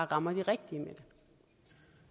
rammer de rigtige